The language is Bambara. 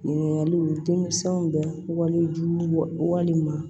Ɲininkaliw denmisɛnw bɛ walejugu walema